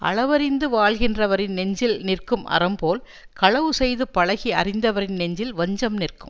அளவறிந்து வாழ்கின்றவரின் நெஞ்சில் நிற்கும் அறம் போல் களவு செய்து பழகி அறிந்தவரின் நெஞ்சில் வஞ்சம் நிற்கும்